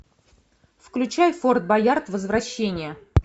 включай форт боярд возвращение